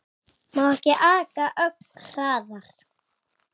Má ekki aka ögn hraðar?